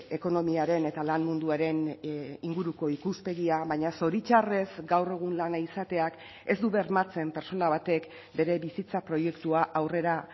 ekonomiaren eta lan munduaren inguruko ikuspegia baina zoritxarrez gaur egun lana izateak ez du bermatzen pertsona batek bere bizitza proiektua aurrera